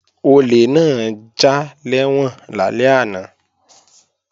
Olè náà já lẹ́wọ̀n lálẹ́ àná